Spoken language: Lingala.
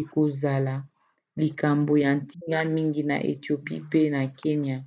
ekozala likambo ya ntina mingi na ethiopie pe na kenya